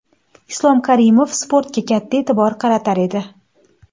Islom Karimov sportga katta e’tibor qaratar edi.